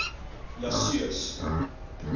jasues